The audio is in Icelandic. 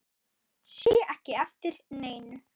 Sé ekki eftir neinu.